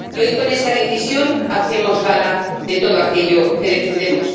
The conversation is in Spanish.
Y hoy, con esta decisión, hacemos gala de todo aquello que defendemos.